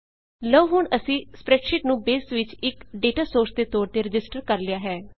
ਲਉ ਹੁਣ ਅਸੀਂ ਸਪ੍ਰੈਡਸ਼ੀਟ ਨੂੰ ਬੇਸ ਵਿੱਚ ਇੱਕ ਡੇਟਾ ਸੋਰਸ ਦੇ ਤੌਰ ਤੇ ਰਜਿਸਟਰ ਕਰ ਲਿਆ ਹੈ